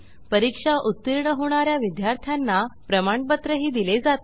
परीक्षा उत्तीर्ण होणा या विद्यार्थ्यांना प्रमाणपत्रही दिले जाते